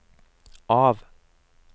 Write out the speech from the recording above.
av